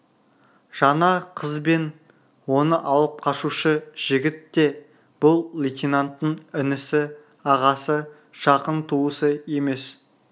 және қыз бен оны алып қашушы жігіт те бұл лейтенанттың інісі ағасы жақын туысы емес